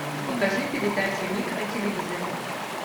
покажи передачу ник на телевизоре